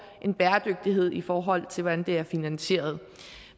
en bæredygtighed i forhold til hvordan det er finansieret